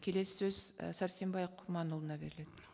келесі сөз і сәрсенбай құрманұлына беріледі